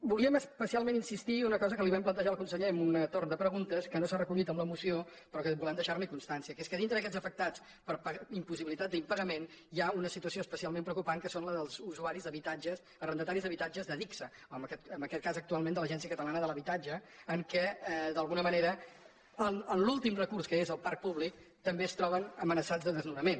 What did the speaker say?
volíem especialment insistir en una cosa que li vam plantejar al conseller amb un torn de preguntes que no s’ha recollit amb la moció però que volem deixar ne constància que és que dintre d’aquests afectats per impossibilitat d’impagament hi ha una situació especialment preocupant que és la dels arrendataris d’habitatges d’adigsa en aquest cas actualment de l’agència catalana de l’habitatge en què d’alguna manera en l’últim recurs que és el parc públic també es troben amenaçats de desnonament